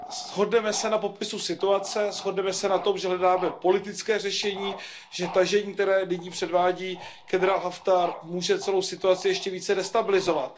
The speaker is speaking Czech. Shodneme se na popisu situace, shodneme se na tom, že hledáme politické řešení, že tažení, které nyní předvádí generál Haftar, může celou situaci ještě více destabilizovat.